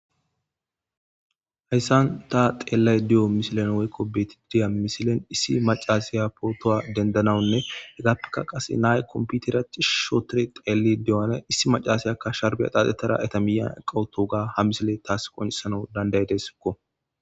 hayssan ta xeellay di7o misilen woykko betididiya misilen issi macasiya pootowa dendanawunne hegappeka qase nay komputeraci shootore xeeli diyane issi macasayakka sharbiya qaaxxetara eta miya qawuto ga ha misile taas qonisanau dandaydesakko